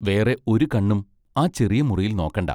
വേറെ ഒരു കണ്ണും ആ ചെറിയ മുറിയിൽ നോക്കെണ്ടാ.